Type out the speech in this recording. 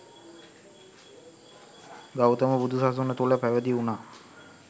ගෞතම බුදු සසුන තුළ පැවිදි වුනා